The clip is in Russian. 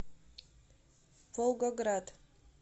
волгоград